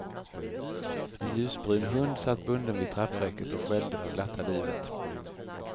En ljusbrun hund satt bunden vid trappräcket och skällde för glatta livet.